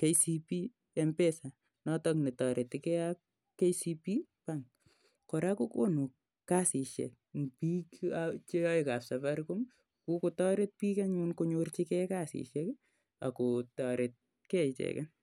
KCB Mpesa notok ne tareti gei ak KCB bank. Kora ko konu kasishek eng' piik chr yae kap Safaricom. Kokotaret piik anyun konyorchigei kasishek ako taret gei icheget.